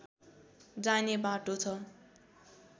जाने बाटो छ